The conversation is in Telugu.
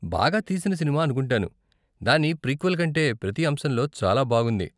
బాగా తీసిన సినిమా అనుకుంటాను, దాని ప్రీక్వెల్ కంటే ప్రతి అంశంలో చాలా బాగుంది.